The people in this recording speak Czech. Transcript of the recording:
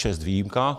Čest výjimkám.